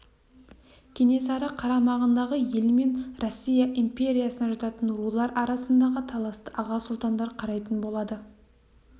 кенесары қарамағындағы ел мен россия империясына жататын рулар арасындағы таласты аға сұлтандар қарайтын болады